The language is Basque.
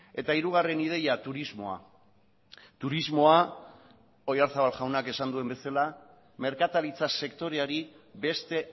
eta hirugarren ideia turismoa turismoa oyarzabal jaunak esan duen bezala merkataritza sektoreari beste